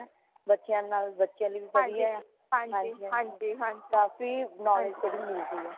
ਬੱਚਿਆਂ ਨਾਲ ਬੱਚੇ ਬੀ ਵਦੀਆ ਹੈ ਹਾਂਜੀ ਹਾਂਜੀ ਕਾਫ਼ੀ knowledge ਵੀ ਮਿਲਦੀ